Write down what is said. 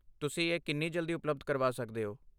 ਤੁਸੀਂ ਇਹ ਕਿੰਨੀ ਜਲਦੀ ਉਪਲੱਬਧ ਕਰਵਾ ਸਕਦੇ ਹੋ?